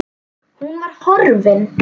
Hún var horfin.